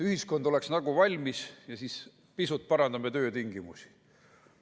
Ühiskond oleks nagu valmis ja siis pisut parandame töötingimusi.